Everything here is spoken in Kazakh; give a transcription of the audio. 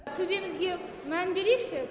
төбемізге мән берейікші